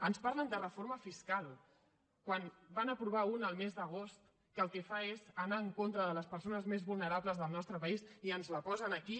ens parlen de reforma fiscal quan en van aprovar una el mes d’agost que el que fa és anar en contra de les persones més vulnerables del nostre país i ens la posen aquí